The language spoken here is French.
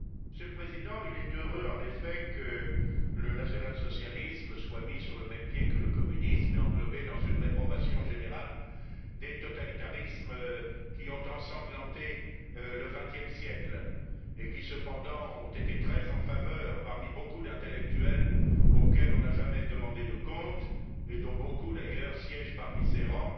Monsieur le Président, il est heureux, en effet, que le national socialisme soit mis sur le même pied que le communisme et englobé dans une réprobation générale des totalitarismes qui ont ensanglanté le XX siècle et qui, cependant, ont été très en faveur parmi beaucoup d'intellectuels, auxquels on n'a jamais demandé de comptes et dont beaucoup, d'ailleurs, siègent parmi ces rangs